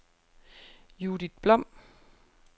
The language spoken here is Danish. Judith Blom